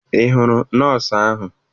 Ị hụrụ nọọsụ ahụ?